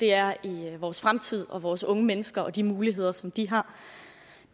er i vores fremtid og vores unge mennesker og de muligheder som de har